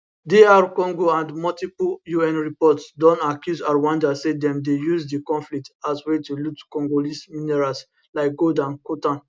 dr congo and multiple un reports don accuse rwanda say dem dey use di conflict as way to loot congolese minerals like gold and coltan